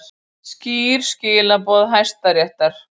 Skýr skilaboð Hæstaréttar